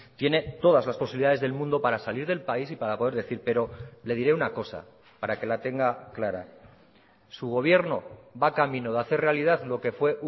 tiene todas las posibilidades del mundo para salir del país y para poder decir pero le diré una cosa para que la tenga clara su gobierno va camino de hacer realidad lo que fue